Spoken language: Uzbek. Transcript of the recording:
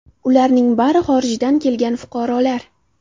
Ularning bari xorijdan kelgan fuqarolar.